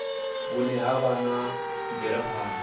vhune ha vha na mvelaphana